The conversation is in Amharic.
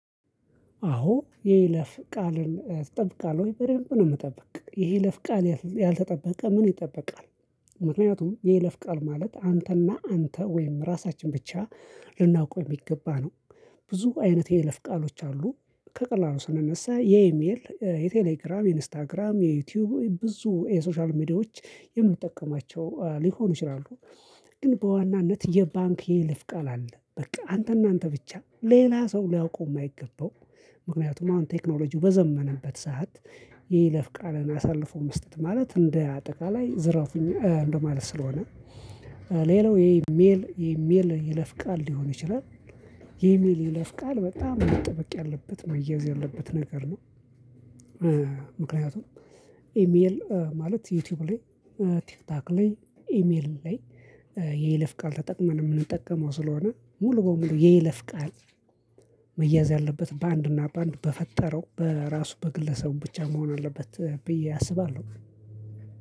አዎ የይለፍ ቃልን ጠብቃለሁ በደንብ ነው ምጠብቅ የይለፍ ቃል ያልተጠበቀ ምን ይጠበቃል? ምክንያቱም የይለፍ ቃል ማለት አንተና አንተ ወይም ራሳችን ብቻ ልናውቀው የሚገባ ነው። ብዙ አይነት የይለፍ ቃሎች አሉ ከቀላሉ ስነነሳ የኢሜል የቴሌግራም ኢንስታግራም የዩቲዩብ ብዙ የሶሻል ሚዲያዎች የምንጠቀማቸው ሊሆኑ ይችላሉ። ግን በዋናነት የባንክ የይልፍ ቃል አለ በቃ አንተና አንተ ብቻ ሌላ ሰው ሊያውቀው የማይገባው። ምክንያቱም አሁን ቴክኖሎጂው በዘመነበት ሰዓት የይለፍ ቃልን አሳልፎ መስጠት ማለት እንደ አጠቃላይ ዝርፍኝ እንደማለት ስለሆነ። ሌላው የኢሜል የኢሜል ይለፍ ቃል ሊሆን ይችላል። የኢሜል ይለፍ ቃል በጣም መጠበቅ ያለበት መያዝ ያለበት ነገር ነው። ምክንያቱም ኢሜል ማለት ዩቲዩብ ላይ ቲክቶክ ላይ ኢሜል ላይ የይለፍ ቃል ተጠቅመን የምንጠቀመው ስለሆነ ሙሉ በሙሉ የይለፍ ቃል። መያዝ ያለበት በአንድና በአንድ በፈጠረው በራሱ በግለሰቡ ብቻ መሆን አለበት ብዬ አስባለሁ።